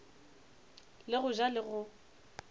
le go ja le go